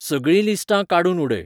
सगळीं लिस्टां काडूून उडय